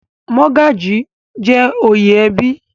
Mọ́gàjí jẹ́ oyè ẹbí.